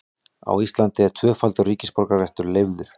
Á Íslandi er tvöfaldur ríkisborgararéttur leyfður.